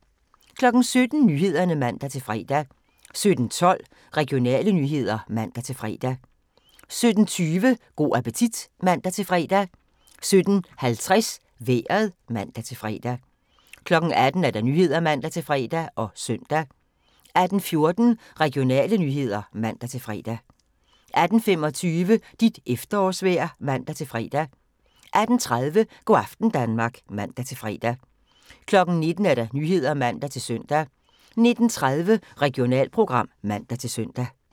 17:00: Nyhederne (man-fre) 17:12: Regionale nyheder (man-fre) 17:20: Go' appetit (man-fre) 17:50: Vejret (man-fre) 18:00: Nyhederne (man-fre og søn) 18:14: Regionale nyheder (man-fre) 18:25: Dit efterårsvejr (man-fre) 18:30: Go' aften Danmark (man-fre) 19:00: Nyhederne (man-søn) 19:30: Regionalprogram (man-søn)